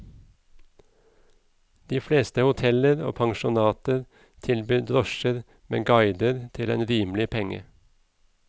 De fleste hoteller og pensjonater tilbyr drosjer med guider til en rimelig penge.